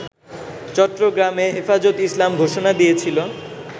চট্টগ্রামে হেফাজতে ইসলাম ঘোষণা দিয়েছিল